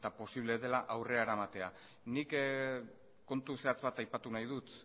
posible dela aurrera eramatea nik kontu zehatz bat aipatu nahi dut